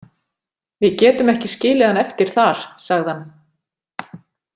Við getum ekki skilið hann eftir þar, sagði hann.